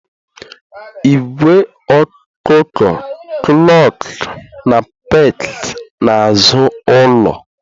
Ìgwè ọkụkọ clucked na pecked n'azụ ụlọ.